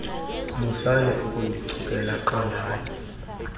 musani ukundichukela qondani